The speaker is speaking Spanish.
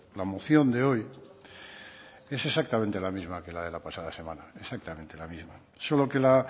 la moción de hoy es exactamente la misma que la de la pasada semana exactamente la misma solo que la